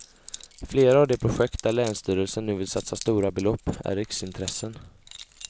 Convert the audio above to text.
Flera av de projekt där länsstyrelsen nu vill satsa stora belopp är riksintressen.